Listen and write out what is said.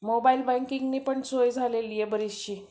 mobile बँकिंगनं पण सोय झालेली आहे बरीचशी